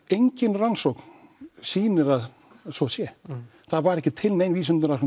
engin rannsókn sýnir að svo sé það var ekki til nein vísindaleg